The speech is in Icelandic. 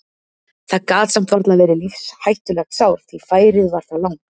Það gat samt varla verið lífshættulegt sár því færið var það langt.